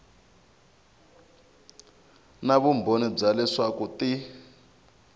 na vumbhoni bya leswaku ti